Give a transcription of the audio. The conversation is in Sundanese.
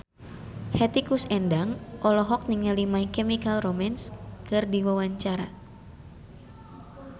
Hetty Koes Endang olohok ningali My Chemical Romance keur diwawancara